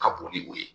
Ka bon ni o ye